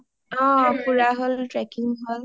অ ফুৰা হ’ল trekking হ’ল